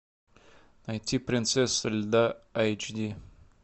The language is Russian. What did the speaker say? найти принцесса льда эйч ди